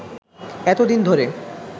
এতোদিন ধরে